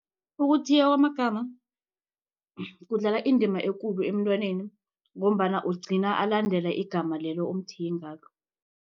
Ukuthiywa wamagama kudlala indima ekulu emntwaneni ngombana ugcina alandele igama lelo omthiye ngalo.